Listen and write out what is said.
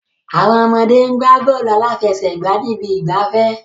Àwọn ọmọdé ń gbá bọ́ọ̀lù aláfẹsẹ̀gbá ní ibi ìgbafẹ́.